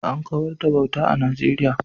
An kawar da bauta a Najeriya